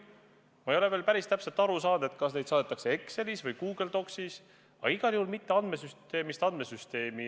Ma ei ole veel päris täpselt aru saanud, kas neid saadetakse Exceli või Google Docsi failina, aga igal juhul ei edastata neid andmesüsteemist andmesüsteemi.